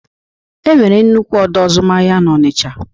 Enwere nnukwu ọdọ azụmahịa n'Ọnicha.